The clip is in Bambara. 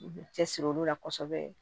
U cɛsiri olu la kosɛbɛ